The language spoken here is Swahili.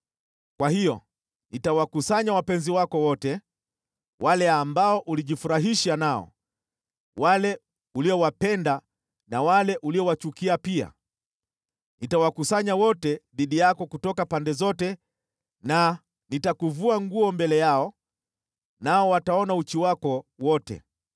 kwa hiyo nitawakusanya wapenzi wako wote, wale ambao ulijifurahisha nao, wale uliowapenda na wale uliowachukia pia. Nitawakusanya wote dhidi yako kutoka pande zote na nitakuvua nguo mbele yao, nao wataona uchi wako wote.